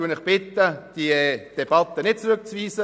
Ich bitte Sie, diese Debatte nicht zu verweigern.